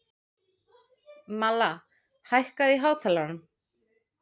Malla, hækkaðu í hátalaranum.